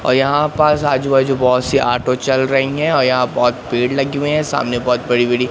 और यहां पास आजु-बाजू बहुत सी ऑटो चल रही है अ यहां बहोत पेड़ लगी हुई है सामने बहोत बड़ी-बड़ी --